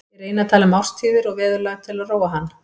Ég reyni að tala um árstíðir og veðurlag til að róa hann.